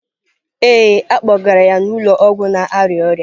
Ee, a kpọgara ya n'ụlọ ọgwụ na-arịa ọrịa.